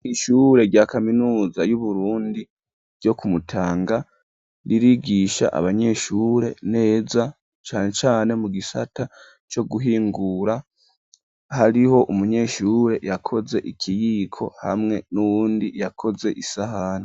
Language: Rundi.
Ishure, rya kaminuza y'Uburundi, ryo ku Mutanga, ririgisha abanyeshure neza; cane cane mu gisata, co guhingura; hariho umunyeshure yakoze ikiyiko, hamwe n'uwundi yakoze isahani.